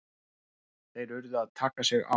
Þeir urðu að taka sig á!